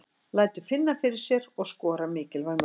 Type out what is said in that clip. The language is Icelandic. Lætur finna fyrir sér og skorar mikilvæg mörk.